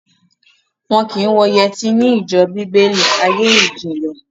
Wọn kì í wọ yẹtí ní ìjọ Bíbélì, ayé ìjìnlè